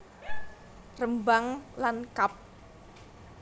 Rembang lan kab